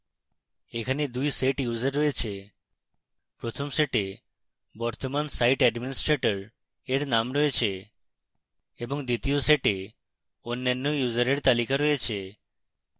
এখানে 2 set users রয়েছে